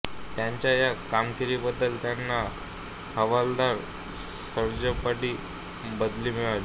त्यांच्या या कामगिरीबद्दल त्यांना हवालदार सार्जंटपदी बढती मिळाली